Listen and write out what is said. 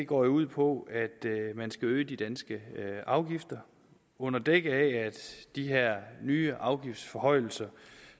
går ud på at man skal øge de danske afgifter og under dække af at de her nye afgiftsforhøjelser